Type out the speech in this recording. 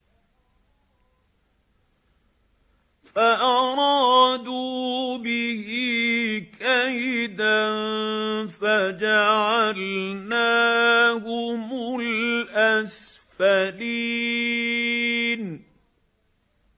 فَأَرَادُوا بِهِ كَيْدًا فَجَعَلْنَاهُمُ الْأَسْفَلِينَ